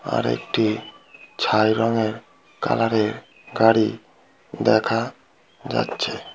আরেকটি ছাই রংয়ের কালার এর গাড়ি দেখা যাচ্ছে।